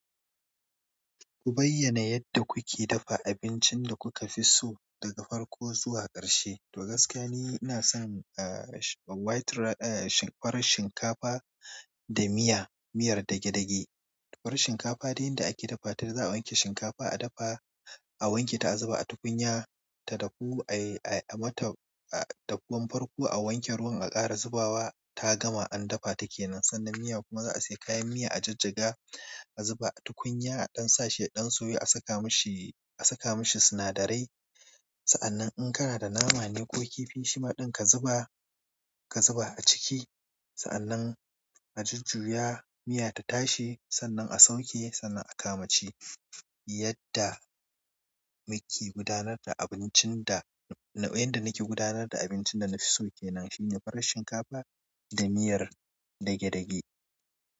Ku bayyana yadda kuke dafa abincin da kuka fi so daga farko zuwa ƙarshe. To gaskiya ni inason ah farin shin ƙafa da miyar dage dage. Farar shinkafa dai yanda ake dafa ta za a wanke shinkafa, a dafa, a wanke ta, a zuba a tukunya ta dahu, a yi, a yi mata, a, dahuwan farko a wanke ruwan, a ƙara zubawa ta gama an dafa take nan. Sannan miya kuma za a sayi kayan miya, a jajjaga, a zuba a tukunya a ɗan sashi ɗan soyu a saka mashi, a saka mashi sinadarai. Sa'annan in kana da nama ne ko kifi shima ɗin ka zuba, ka zuba a ciki. Sa'annan a jujjuya miya ta tashi. Sannan a sauke, sannan a kama ci. Yadda muke gudanar da abincin da, na, wanda nake gudanar da abincin da na fi so ke nan shine farar shinkafa da miyar dage-dage.